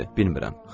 Bilmirem.